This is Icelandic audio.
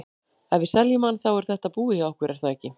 Ef við seljum hann, þá er þetta búið hjá okkur er það ekki?